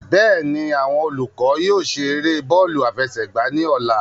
Bẹ́ẹ̀ni, awọn olukọ yóò ṣe ere bọọlu afẹsẹgba ni ọla